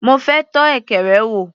Mo fẹ́ tọ́ ekere wò.